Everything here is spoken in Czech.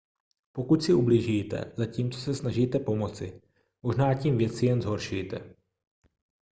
pokud si ublížíte zatímco se snažíte pomoci možná tím věci jen zhoršíte